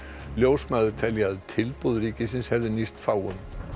ljósmæður telja að tilboð ríkisins hefði nýst fáum